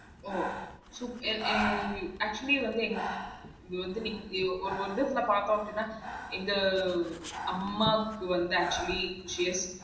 ஒ should actually வந்து பாதோம் அப்படினா இந்த அம்மாப் குழந்த actually